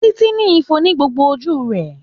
Títí ní ifo ní gbogbo ojú rẹ̀.